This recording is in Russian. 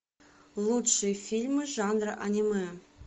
лучшие фильмы жанра аниме